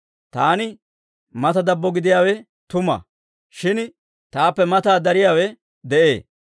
Taani mata dabbo gidiyaawe tuma; shin taappe mataa dariyaawe de'ee.